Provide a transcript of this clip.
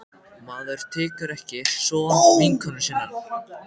Maður tekur ekki son vinkonu sinnar.